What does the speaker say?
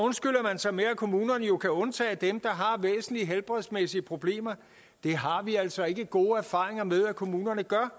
med at kommunerne jo kan undtage dem der har væsentlige helbredsmæssige problemer det har vi altså ikke gode erfaringer med at kommunerne gør